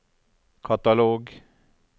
katalog